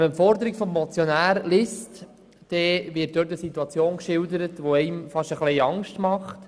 Wenn man die Forderung des Motionärs liest, sieht man, dass darin eine Situation geschildert wird, die einem fast ein wenig Angst macht.